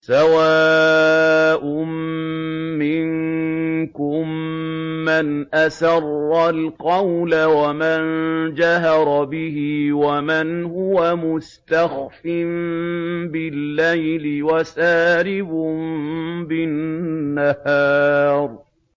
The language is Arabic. سَوَاءٌ مِّنكُم مَّنْ أَسَرَّ الْقَوْلَ وَمَن جَهَرَ بِهِ وَمَنْ هُوَ مُسْتَخْفٍ بِاللَّيْلِ وَسَارِبٌ بِالنَّهَارِ